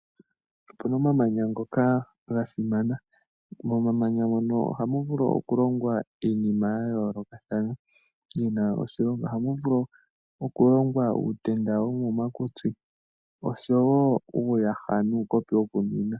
Opuna omamanya ngoka ga simana. Momamanya mono ohamu vulu okulongwa iinima yayoolokathana, yina oshilonga. Ohamu vulu okulongwa uutenda womomakutsi, oshowo uuyaha nuukopi wokunwina.